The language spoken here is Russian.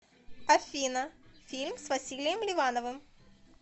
афина фильм с василием ливановым